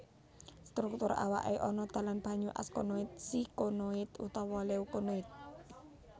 Struktur awake ana dalan banyu askonoid sikonoid utawa leukonoid